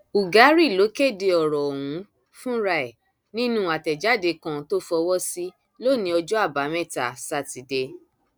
ugari ló kéde ọrọ ọhún fúnra ẹ nínú àtẹjáde kan tó fọwọ sí lónìí ọjọ àbámẹta sátidé